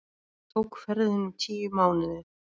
Tók ferðin um tíu mánuði.